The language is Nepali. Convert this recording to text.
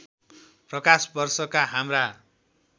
प्रकाश वर्षका हाम्रा